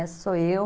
Esse sou eu.